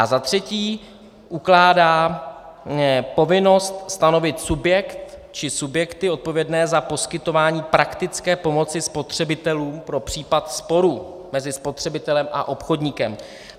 A za třetí ukládá povinnost stanovit subjekt či subjekty odpovědné za poskytování praktické pomoci spotřebitelům pro případ sporu mezi spotřebitelem a obchodníkem.